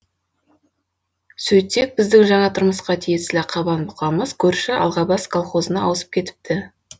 сөйтсек біздің жаңа тұрмысқа тиесілі қабан бұқамыз көрші алғабас колхозына ауысып кетіпті